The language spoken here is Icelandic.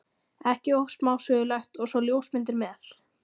ekki of smásmugulegt- og svo ljósmyndir með.